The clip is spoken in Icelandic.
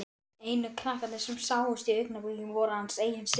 Einu krakkarnir sem sáust í augnablikinu voru hans eigin systur.